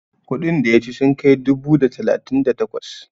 kudin da ya ci sun kai dubu da talatin da takwas?